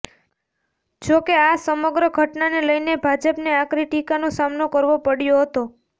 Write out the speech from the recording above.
જો કે આ સમગ્ર ઘટનાને લઇને ભાજપને આકરી ટીકાનો સામનો કરવો પડ્યો હતો